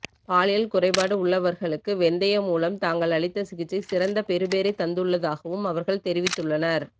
பாலியல் குறைபாடு உள்ளவர்களுக்கு வெந்தயம் மூலம் தாங்கள் அளித்த சிகிச்சை சிறந்த பெறுபேறைத் தந்துள்ளதாகவும் அவர்கள் தெரிவித்துள்ளனர்